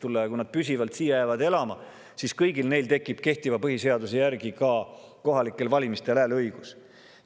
Kui nad siin püsivalt elama jäävad, siis kõigil neil tekib kehtiva põhiseaduse järgi ka kohalikel valimistel hääleõigus.